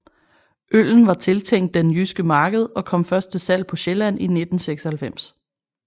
Øllen var tiltænkt den jyske marked og kom først til salg på Sjælland i 1996